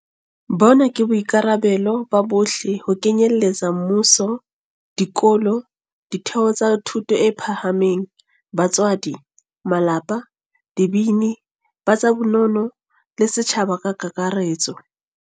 Bona ke boikarabelo ba bohle ho kenyeletsa mmuso, dikolo, ditheo tsa thuto e phahameng, batswadi, malapa, dibini, ba tsa bonono, le setjhaba ka kakaretso.